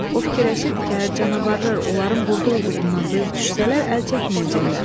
O fikirləşirdi ki, əgər canavarlar onların burada olduğundan duyux düşsələr, əl çəkməyəcəklər.